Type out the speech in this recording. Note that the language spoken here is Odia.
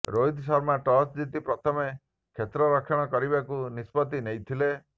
ରୋହିତ ଶର୍ମା ଟସ୍ ଜିତି ପ୍ରଥମେ କ୍ଷେତ୍ରରକ୍ଷଣ କରିବାକୁ ନିଷ୍ପତ୍ତି ନେଇଥିଲେ